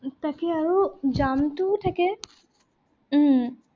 তাকে আৰু jam টোও থাকে। উম